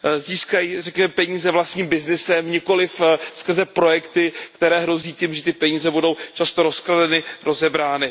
Získají peníze vlastním byznysem, nikoliv skrze projekty, které hrozí tím, že ty peníze budou často rozkradeny, rozebrány.